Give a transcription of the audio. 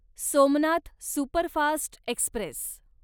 Somnath superfast Express